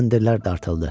Kəndirlər dartıldı.